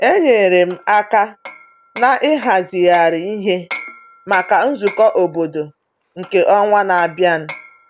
Enyere m aka n’ịhazigharị ihe maka nzukọ obodo nke ọnwa na-abịa.